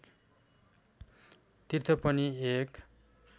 तीर्थ पनि एक